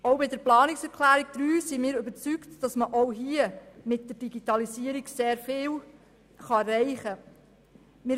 Auch was die Planungserklärung 2 betrifft, sind wir überzeugt, dass man mit der Digitalisierung viel erreichen kann.